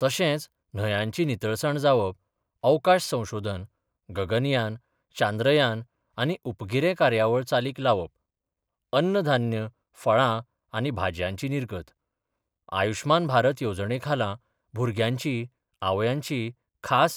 तशेंच न्हयांची नितळसाण जावप, अवकाश संशोधन, गगनयान, चांद्रयान आनी उपगिरे कार्यावळ चालीक लावप, अन्न धान्य, फळां आनी भाजयांची निर्गत, आयुषमान भारत येवजणेखाला, भुरग्यांची आवयांची खास